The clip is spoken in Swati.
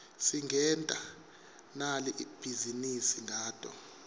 singenta nali bhizinisi ngato